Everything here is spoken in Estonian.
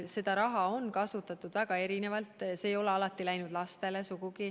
Seda raha on kasutatud väga erinevalt, see ei ole sugugi alati läinud lastele.